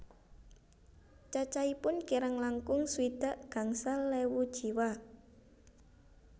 Cacahipun kirang langkung swidak gangsal ewu jiwa